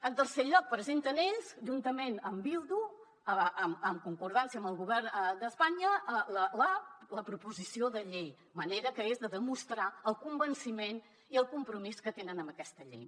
en tercer lloc presenten ells juntament amb bildu en concordança amb el govern d’espanya la proposició de llei manera que és de demostrar el convenciment i el compromís que tenen amb aquesta llei